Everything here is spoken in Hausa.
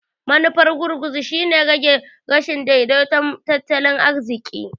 Manufar gurguzu shine rage rashin daidaiton tattalin arziƙi.